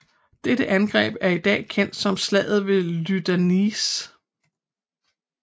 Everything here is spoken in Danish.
Dette angreb er i dag kendt som slaget ved Lyndanisse